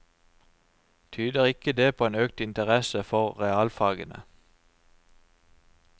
Tyder ikke det på en økt interesse for realfagene?